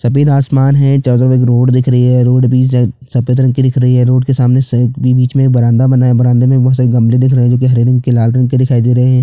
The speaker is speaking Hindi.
सफ़ेद आसमान है चारो तरफ रोड दिख रही है रोड भी सफ़ेद रंग की दिख रही है रोड के सामने के बिच में एक बरामदा बना हुआ है बरामदे में बहोत सारे गमले दिख रहै है जो गहरे रंग के लाल रंग के दिखाई दे रहै है।